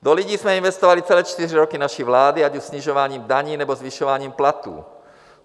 Do lidí jsme investovali celé čtyři roky naší vlády, ať už snižováním daní, nebo zvyšováním platů.